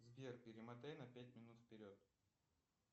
сбер перемотай на пять минут вперед